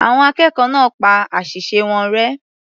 Àwọn akẹ́kọ̀ọ́ náà pa àṣìṣe wọn rẹ́.